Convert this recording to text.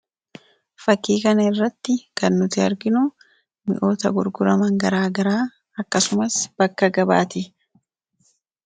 Fakkii kana irratti kan nuti arginu mi'oota gurguraman garaa garaa akkasumas bakka gabaati.